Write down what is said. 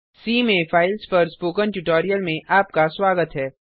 सी में फाइल्स पर spoken tutorial में आपका स्वागत है